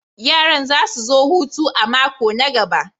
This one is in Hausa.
Yaran za su zo hutu a mako na gaba.